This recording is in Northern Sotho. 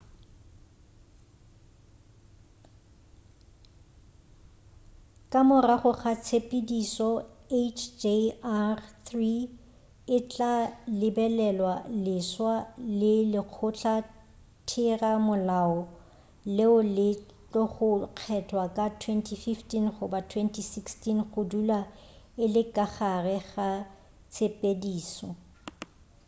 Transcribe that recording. ka morago ga tshepedišo hjr-3 e tla lebelelwa leswa ke lekgotla-thera-molao leo le tlogo kgethwa ka 2015 goba 2016 go dula e le ka gare ga tshepedišo